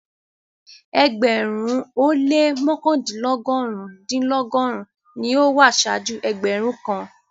Ẹgbẹ̀rún-un o lẹ́ mọkandinlọgọ́run-dinlọgọ́run ní o wà ṣáàjú ẹgbẹ̀rún kàn.